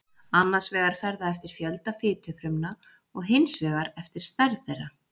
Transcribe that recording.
Annars vegar fer það eftir fjölda fitufrumna og hins vegar eftir stærð þeirra.